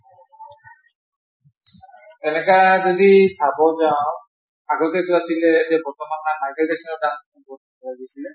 এনেকৈ যদি চাব যাওঁ আগতে টো আছিলে এই যে বৰ্তমান